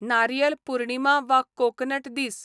नारियल पुर्णिमा वा कोकनट दीस